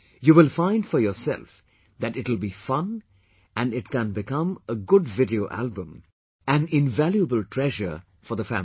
You will find for yourself that it will be fun and it can become a good video album, a very invaluable treasure for the family